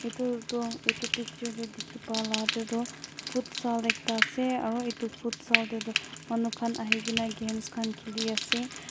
etu toh etu picture te dikhi pa la te toh futsal ekta ase aru etu futsal te toh manukhan ahikena games khan khili ase.